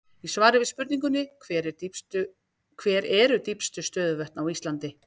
Í svari við spurningunni Hver eru dýpstu stöðuvötn á Íslandi?